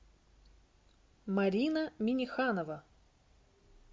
марина минеханова